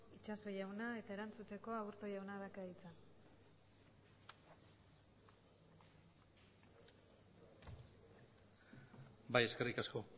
itxaso jauna eta erantzuteko aburto jauna dauka hitza bai eskerrik asko